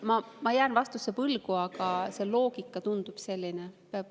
Ma jään vastuse võlgu, aga see loogika tundub selline.